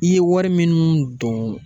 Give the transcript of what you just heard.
I ye wari min don